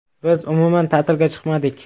Biz umuman ta’tilga chiqmadik.